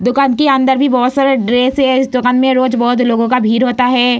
दुकान के अंदर भी बहुत सारा ड्रेस हैं इस दुकान में रोज़ बहुत लोगों का भीड़ होता हैं।